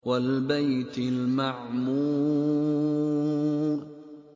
وَالْبَيْتِ الْمَعْمُورِ